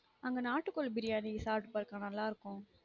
அங்க நாட்டுகோழி briyani சாப்டு பாரு கா நல்லா இருக்கும்